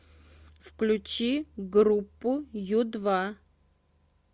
включи группу ю два